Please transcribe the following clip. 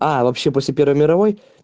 а вообще после первой мировой